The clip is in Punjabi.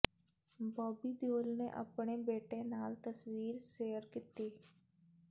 ਬੌਬੀ ਦਿਓਲ ਨੇ ਅਪਣੇ ਬੇਟੇ ਨਾਲ ਤਸਵੀਰ ਸੇਅਰ ਕੀਤੀ